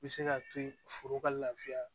Bɛ se k'a to yen foro ka lafiya